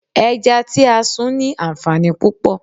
Ẹja tí a sun ní anfaani púpò.